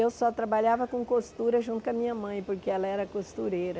Eu só trabalhava com costura junto com a minha mãe, porque ela era costureira.